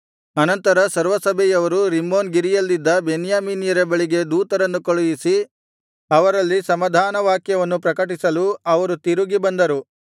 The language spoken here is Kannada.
ಅನಂತರ ಸರ್ವಸಭೆಯವರು ರಿಮ್ಮೋನ್ ಗಿರಿಯಲ್ಲಿದ್ದ ಬೆನ್ಯಾಮೀನ್ಯರ ಬಳಿಗೆ ದೂತರನ್ನು ಕಳುಹಿಸಿ ಅವರಲ್ಲಿ ಸಮಾಧಾನ ವಾಕ್ಯವನ್ನು ಪ್ರಕಟಿಸಲು ಅವರು ತಿರುಗಿ ಬಂದರು